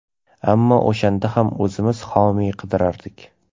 Ammo o‘shanda ham o‘zimiz homiy qidirardik.